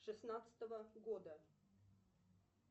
шестнадцатого года